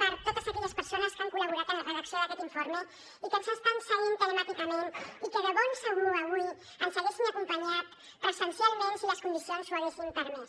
per a totes aquelles persones que han col·laborat en la redacció d’aquest informe i que ens estan seguint telemàticament i que de ben segur avui ens haguessin acompanyat presencialment si les condicions ho haguessin permès